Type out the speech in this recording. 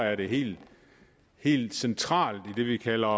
er det helt helt centralt i det vi kalder